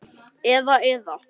Eða, eða.